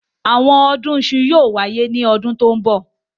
Àwọn ọdún iṣu yóò wáyé ní ọdún tó ń bọ̀.